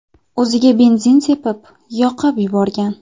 o‘ziga benzin sepib, yoqib yuborgan.